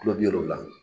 Kulo bi wolonwula